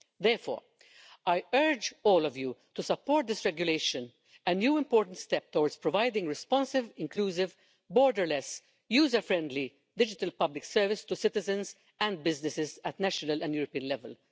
Therefore, I urge all of you to support this regulation a new important step towards providing a responsive, inclusive, borderless, user friendly, digital public service to citizens and businesses at national and European level.